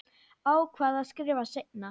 Ákvað að skrifa seinna.